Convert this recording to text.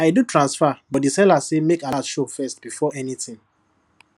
i do transfer but the seller say make alert show first before anything